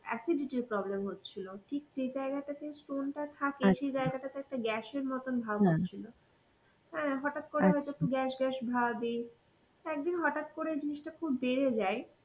acidity এর problem হচ্ছিল. ঠিক যে জায়গাটাতে stone টা থাকে সেই জায়গাটাতে একটা gas এর মতন ভাব হচ্ছিল. হ্যাঁ হটাত করে আমার একটু gas gas ভাবি, একদিন হটাত করে জিনিসটা খুব বেড়ে যায়,